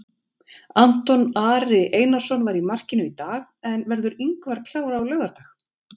Anton Ari Einarsson var í markinu í dag en verður Ingvar klár á laugardag?